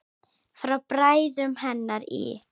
Frá bræðrum hennar í